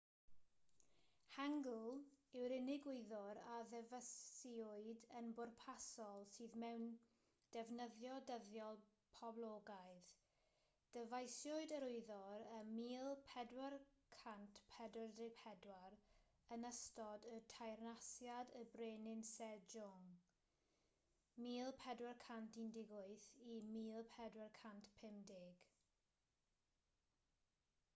hangeul yw'r unig wyddor a ddyfeisiwyd yn bwrpasol sydd mewn defnyddio dyddiol poblogaidd. dyfeisiwyd yr wyddor ym 1444 yn ystod teyrnasiad y brenin sejong 1418-1450